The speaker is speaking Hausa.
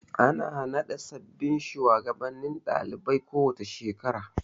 Ana naɗa sababbin shugabannin ɗalibai a kowace shekara.